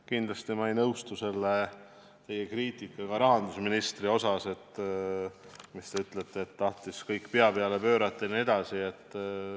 Kindlasti ei nõustu ma teie kriitikaga rahandusministri pihta, mis puudutab seda, et ta tahtis kõik pea peale pöörata jne.